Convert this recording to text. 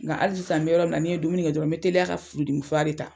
Nga hali sisan n bɛ yɔrɔ min na, ni n' ye dumuni kɛ dɔrɔn n be teliya ka furudimi fura de ta.